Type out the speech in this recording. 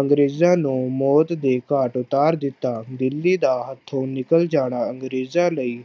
ਅੰਗਰੇਜ਼ਾਂ ਨੂੰ ਮੌਤ ਦੇ ਘਾਟ ਉਤਾਰ ਦਿੱਤਾ, ਦਿੱਲੀ ਦਾ ਹੱਥੋਂ ਨਿਕਲ ਜਾਣਾ ਅੰਗਰੇਜ਼ਾਂ ਲਈ